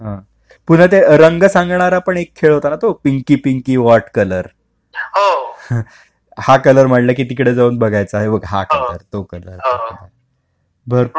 कुठला तो रंग सांगणार आपण एक खेळ होता नाही का पिंकी पिंकी व्हॉट कलर हा कलर म्हटल की तिकडे जाऊन बघायचा हा बघ तो कलर...भरपूर..